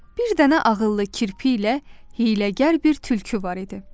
Bir dənə ağıllı kirpi ilə hiyləgər bir tülkü var idi.